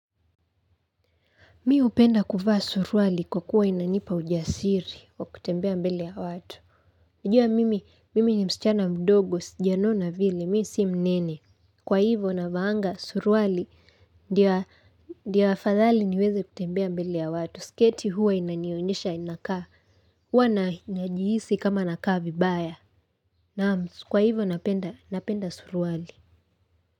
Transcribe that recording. Mi hupenda kuvaa suruali kwa kuwa inanipa ujasiri wa kutembea mbele ya watu. Najua mimi, mimi ni msichana mdogo, sijanona vile, mi si mnene. Kwa hivo navaanga suruali, ndia, ndi afadhali niweze kutembea mbele ya watu. Sketi huwa inanionyesha inakaa, huwa najihisi kama nakaa vibaya. Naam, kwa hivo napenda, napenda suruali.